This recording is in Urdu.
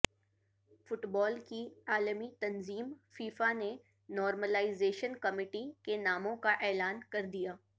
فٹبال کی عالمی تنظیم فیفا نے نارملائزیشن کمیٹی کے ناموں کا اعلان کردیا